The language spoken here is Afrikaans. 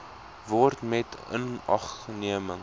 word met inagneming